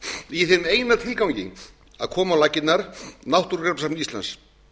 í ef eina tilgangi að koma á laggirnar náttúrugripasafni íslands